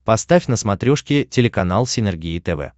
поставь на смотрешке телеканал синергия тв